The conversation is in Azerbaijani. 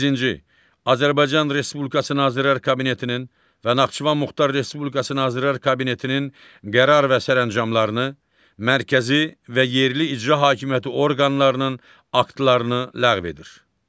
Azərbaycan Respublikası Nazirlər Kabinetinin və Naxçıvan Muxtar Respublikası Nazirlər Kabinetinin qərar və sərəncamlarını mərkəzi və yerli icra hakimiyyəti orqanlarının aktlarını ləğv edir.